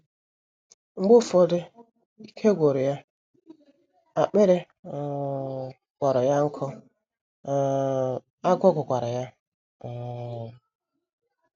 Mgbe ụfọdụ ike gwụrụ ya, akpịrị um kpọrọ ya nkụ, um agụụ gụkwara ya. um